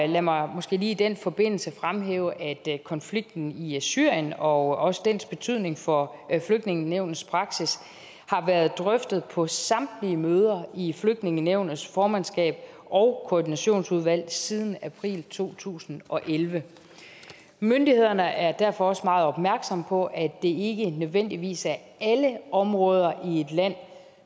lad mig måske lige i den forbindelse fremhæve at konflikten i syrien og også dens betydning for flygtningenævnets praksis har været drøftet på samtlige møder i flygtningenævnets formandskab og koordinationsudvalg siden april to tusind og elleve myndighederne er derfor også meget opmærksomme på at det ikke nødvendigvis er alle områder i et land